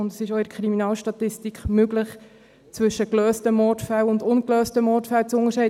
Es ist auch in der Kriminalstatistik möglich, zwischen gelösten Mordfällen und ungelösten Mordfällen zu unterscheiden.